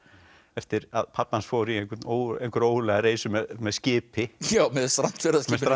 eftir að pabbi hans fór í ógurlega reisu með skipi með